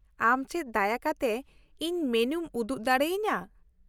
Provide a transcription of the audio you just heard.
ᱟᱢ ᱪᱮᱫ ᱫᱟᱭᱟ ᱠᱟᱛᱮ ᱤᱧ ᱢᱮᱱᱩᱢ ᱩᱫᱩᱜ ᱫᱟᱲᱮᱭᱟᱹᱧᱟᱹ ?